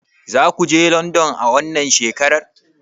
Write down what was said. Zakuje london a wannan shekarar?